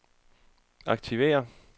aktiver